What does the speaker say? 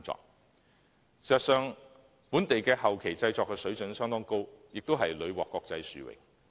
事實上，本地後期製作的水準相當高，亦屢獲國際殊榮。